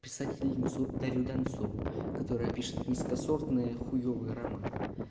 писательница дарья донцова которая пишет низкосортное хуевый роман